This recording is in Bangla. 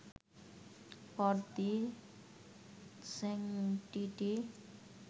for the sanctity